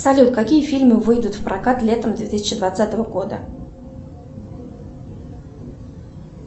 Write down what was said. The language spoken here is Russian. салют какие фильмы выйдут в прокат летом две тысячи двадцатого года